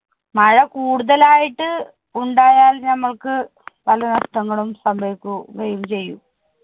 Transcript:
മഴ കൂടുതലായിട്ട് ഉണ്ടായാല്‍ ഞമ്മൾക്ക് പല നഷ്ടങ്ങളും സംഭവിക്കുകയും ചെയ്യും.